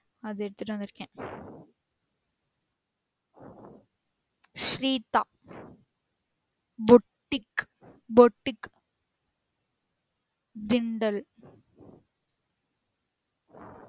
அது எடுத்துட்டு வந்துருக்க sweet ஆஹ் boutique boutique திண்டல்